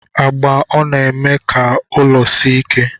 Agba ọna eme ka ụlọ si ike?